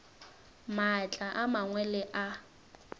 maatla a mangwe le a